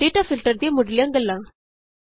data filter ਦੀਆ ਮੁੱਢਲੀਆਂ ਗੱਲਾਂ